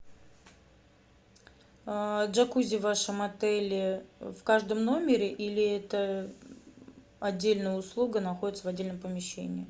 джакузи в вашем отеле в каждом номере или это отдельная услуга находится в отдельном помещении